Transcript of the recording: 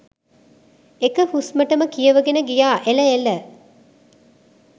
එක හුස්මටම කියවගෙන ගියා එල එල